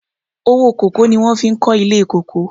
Owó kòkó ni wọhn fi kọ́ ilé kòkó.